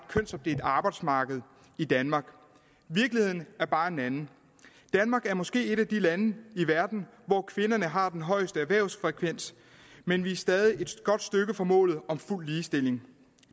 kønsopdelt arbejdsmarked i danmark virkeligheden er bare en anden danmark er måske et af de lande i verden hvor kvinderne har den højeste erhvervsfrekvens men vi er stadig et godt stykke fra målet om fuld ligestilling